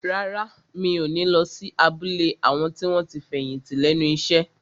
Rárá, mi ò ní lọ sí abúlé àwọn tí wọ́n ti fẹ̀yìntì lẹ́nu iṣẹ́